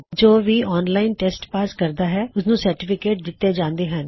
ਜੋ ਵੀ online test pass ਕਰਦਾ ਹੈ ਉਸਨੂੰ ਸਰਟੀਫਿਕੇਟ ਦਿੱਤੇ ਜਾਂਦੇ ਹਨ